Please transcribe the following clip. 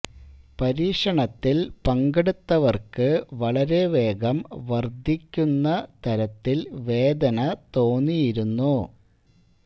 പരീക്ഷണത്തിൽ പങ്കെടുത്തവർക്ക് വളരെ വേഗം വർദ്ധിക്കുന്ന തരത്തിൽ വേദന തോന്നിയിരുന്നു